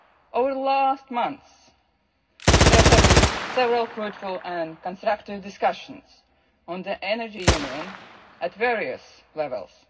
Over the last months there have been several fruitful and constructive discussions on the energy union at various levels.